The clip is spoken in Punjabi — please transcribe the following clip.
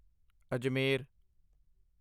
ਅਜਮੇਰ